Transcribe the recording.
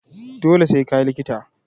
Dole sai ka yi likita!